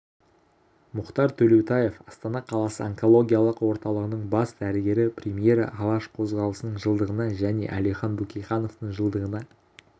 мұхтар төлеутаев астана қаласы онкологиялық орталығының бас дәрігері премьера алаш қозғалысының жылдығына және әлихан бөкейхановтың жылдығына